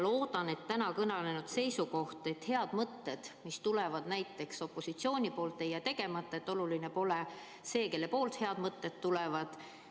Loodan, et täna kõne all olnud seisukoht, et head mõtted, mis tulevad näiteks opositsioonilt, ei jää ellu viimata, ning oluline pole see, kellelt head mõtted tulevad.